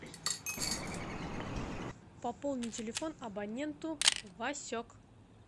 пополни телефон абоненту васек